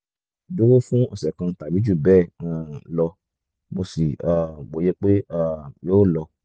dúró fún ọ̀sẹ̀ kan tàbí jù bẹ́ẹ̀ um lọ mo sì um wòyẹ pé um yóò lọ